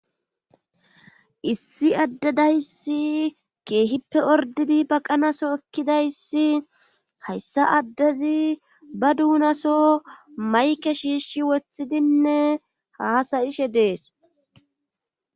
issi adde dayssi keehippe ordidi baqanaso ekkidayssi hayssa addezi ba duunaso mayke shiishi wothidinne haasayishe dees